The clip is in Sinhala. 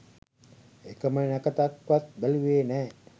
එකම නැකතක්වත් බැලුවෙ නෑ